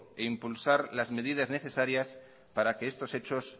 impulsar las medidas necesarias para que estos hechos